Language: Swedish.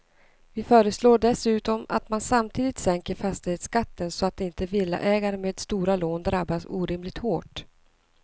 Vi föreslår dessutom att man samtidigt sänker fastighetsskatten så att inte villaägare med stora lån drabbas orimligt hårt.